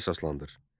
Fikrinə əsaslandır.